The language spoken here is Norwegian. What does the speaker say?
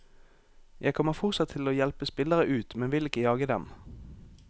Jeg kommer fortsatt til å hjelpe spillere ut, men vil ikke jage dem.